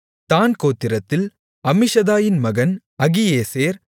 தாண் கோத்திரத்தில் அம்மிஷதாயின் மகன் அகியேசேர்